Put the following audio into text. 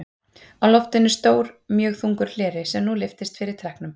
Á loftinu er stór mjög þungur hleri, sem nú lyftist fyrir trekknum.